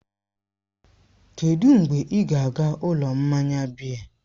Kedụ mgbe ị ga-aga ụlọ mmanya biya?